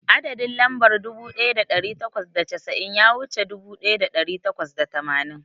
Adadin lambar dubu daya dari takwas da casa'in ya wuce dubu daya dari takwas da tamanin.